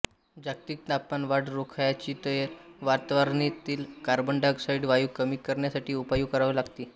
जागतिक तापमानवाढ रोखायची तर वातावरणातील कार्बन डायऑक्साईड वायू कमी करण्यासाठी उपाय करावे लागतील